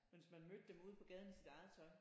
Men hvis man mødte dem ude på gaden i sit eget tøj